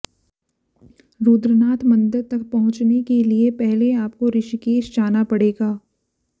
रुद्रनाथ मंदिर तक पहुंचने के लिए पहले आपको ऋषिकेश जाना पड़ेगा